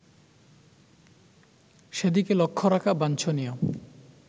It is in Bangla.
সেদিকে লক্ষ্য রাখা বাঞ্ছনীয়